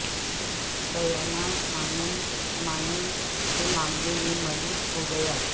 Diana ماین ماین کے معاملے میں ملوث ہو گیا